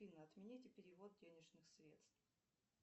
афина отмените перевод денежных средств